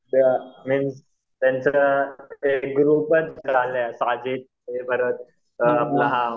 त्यांचं ते ग्रुपचं झालंय साजिद